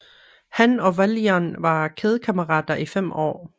Han og Valjean var kædekammerater i fem år